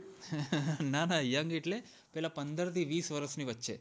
ના ના young એટલે પેલા પંદર થી વીસ વર્ષની વચ્ચે